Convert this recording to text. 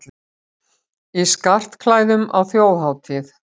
Í skartklæðum á þjóðhátíð